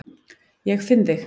Ég finn þig.